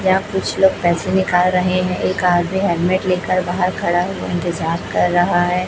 यहां कुछ लोग पैसे निकाल रहे हैं एक आदमी हेलमेट लेकर बाहर खड़ा हुआ इंतजार कर रहा है।